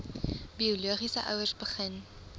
biologiese ouers begin